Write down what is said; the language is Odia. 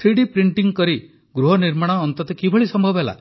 ଥ୍ରୀଡି ପ୍ରିଣ୍ଟ୍ କରି ଗୃହ ନିର୍ମାଣ ଅନ୍ତତଃ କିଭଳି ସମ୍ଭବ ହେଲା